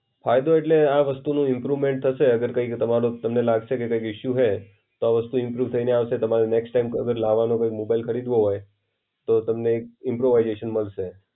ફાયદો એટલે આ વસ્તુનું ઇમ્પ્રુવમેન્ટ થશે અગર કઈ તમારો તમને લાગશે કે કઈ ઇશ્યૂ હોય, તો આ વસ્તુ ઇમ્પ્રુવ થઈને આવશે. તમારે નેક્સ્ટ ટાઈમ અગર લાવાનું કોઈ મોબાઈલ ખરીધવું હોય, તો તમને ઈમ્પ્રોવાઇઝેશન મળશે.